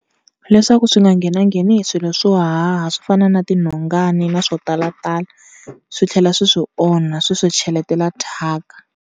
Leswaku swi nga nghenangheni hi swilo swo haha swo fana na tinhongani na swo talatala swi tlhela swi swi onha swi swi cheletela thyaka.